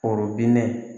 Forobinɛ